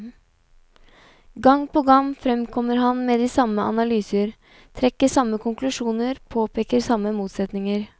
Gang på gang fremkommer han med de samme analyser, trekker samme konklusjoner, påpeker samme motsetninger.